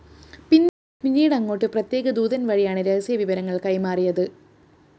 പിന്നീട് അങ്ങോട്ട് പ്രത്യേക ദൂതന്‍ വഴിയാണ് രഹസ്യവിവരങ്ങള്‍ കൈമാറിയത്